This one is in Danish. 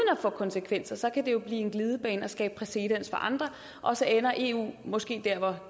at få konsekvenser blive en glidebane og skabe præcedens for andre og så ender eu måske der